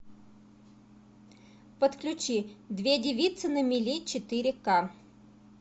подключи две девицы на мели четыре ка